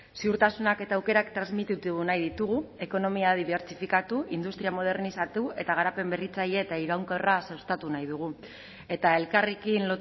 ziurtasunak eta aukerak transmititu nahi ditugu ekonomia dibertsifikatu industria modernizatu eta garapen berritzaile eta iraunkorra sustatu nahi dugu eta elkarrekin